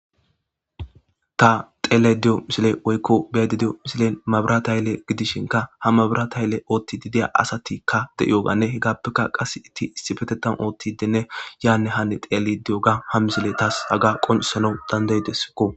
ta xeele di7o misile oykko beedi di7o misile mabirata yille gidishinka ha mabirata yelle ootti didiya asatikka de7ioganne hegaappeka qase itti issi petetan ootti denne yaanne hani xeelle di7o ga ha misile taas aga qonsanau dandaydessikko